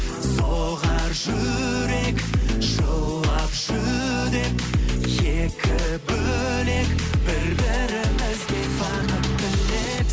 соғар жүрек жылап жүдеп екі бөлек бір бірімізді танып біліп